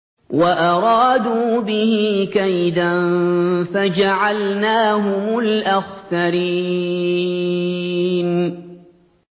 وَأَرَادُوا بِهِ كَيْدًا فَجَعَلْنَاهُمُ الْأَخْسَرِينَ